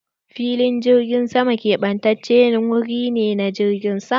Filin jirgin sama ƙebatacen wuri ne na jirgin sama.